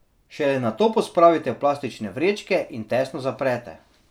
Šele nato pospravite v plastične vrečke in tesno zaprete.